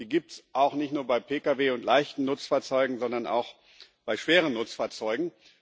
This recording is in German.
Die gibt es nicht nur bei Pkw und leichten Nutzfahrzeugen, sondern auch bei schweren Nutzfahrzeugen.